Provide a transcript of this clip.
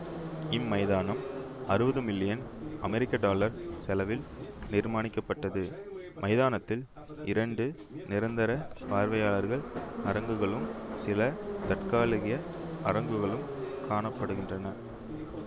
இம்மைதானம் அறுவது மில்லியன் அமெரிக்க டாலர் செலவில் நிர்மானிக்கப்பட்டது மைதானதில் இரண்டு நிரந்தர பார்வையாளர் அரங்குகளும் சில தற்காலிக அரங்குகளும் காண படுகின்றன